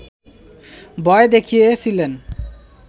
ভয় দেখিয়েছিলেন